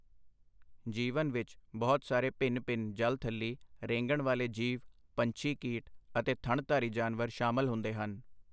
ਜੀਵਨ ਵਿਚ ਬਹੁਤ ਸਾਰੇ ਭਿੰਨ ਭਿੰਨ ਜਲਥਲੀ ਰੇਂਗਣ ਵਾਲੇ ਜੀਵ ਪੰਛੀ ਕੀਟ ਅਤੇ ਥਣਧਾਰੀ ਜਾਨਵਰ ਸ਼ਾਮਲ ਹੁੰਦੇ ਹਨ।